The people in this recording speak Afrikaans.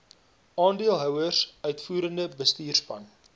aandeelhouers uitvoerende bestuurspan